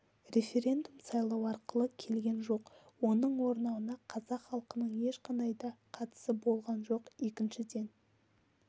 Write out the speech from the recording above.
референдум сайлау арқылы келген жоқ оның орнауына қазақ халқының ешқандай да қатысы болған жоқ екіншіден